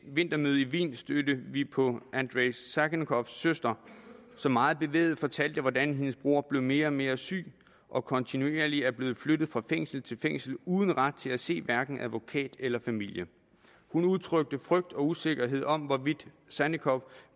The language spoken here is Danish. vintermøde i wien stødte vi på andrei sannikovs søster som meget bevæget fortalte hvordan hendes bror blev mere og mere syg og kontinuerligt er blevet flyttet fra fængsel til fængsel uden ret til at se hverken advokat eller familie hun udtrykte frygt for og usikkerhed om hvorvidt sannikov